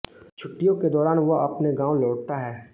छुट्टियों के दौरान वह अपने गाँव लौटता है